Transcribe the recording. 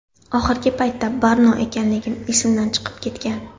Oxirgi paytda Barno ekanligim esimdan chiqib ketgan.